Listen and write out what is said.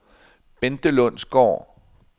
Bente Lundsgaard